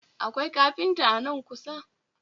Akwai kafinta a nan kusa?